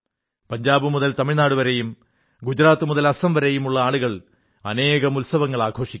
പഞ്ചാബ് മുതൽ തമിഴ്നാടുവരെയും ഗുജറാത്ത് മുതൽ അസം വരെയും ആളുകൾ അനേകം ഉത്സവങ്ങൾ ആഘോഷിക്കും